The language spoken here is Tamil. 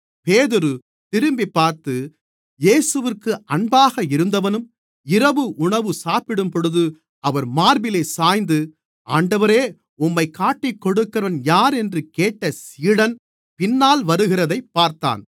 பேதுரு திரும்பிப்பார்த்து இயேசுவிற்கு அன்பாக இருந்தவனும் இரவு உணவு சாப்பிடும்போது அவர் மார்பிலே சாய்ந்து ஆண்டவரே உம்மைக் காட்டிக்கொடுக்கிறவன் யார் என்று கேட்ட சீடன் பின்னால் வருகிறதைப் பார்த்தான்